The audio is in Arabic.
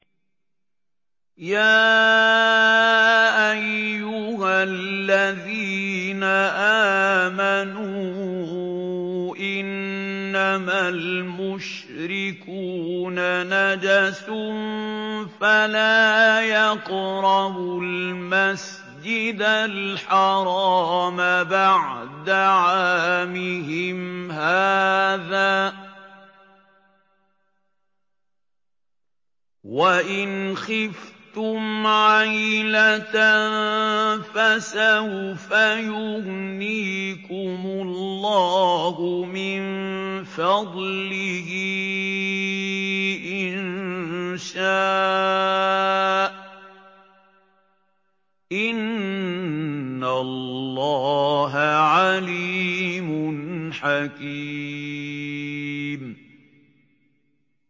يَا أَيُّهَا الَّذِينَ آمَنُوا إِنَّمَا الْمُشْرِكُونَ نَجَسٌ فَلَا يَقْرَبُوا الْمَسْجِدَ الْحَرَامَ بَعْدَ عَامِهِمْ هَٰذَا ۚ وَإِنْ خِفْتُمْ عَيْلَةً فَسَوْفَ يُغْنِيكُمُ اللَّهُ مِن فَضْلِهِ إِن شَاءَ ۚ إِنَّ اللَّهَ عَلِيمٌ حَكِيمٌ